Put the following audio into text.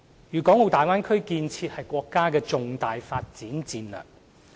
粵港澳大灣區建設是國家的重大發展戰略。